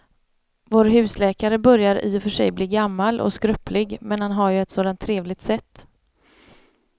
Vår husläkare börjar i och för sig bli gammal och skröplig, men han har ju ett sådant trevligt sätt!